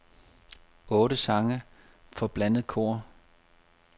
Otte sange for blandet kor.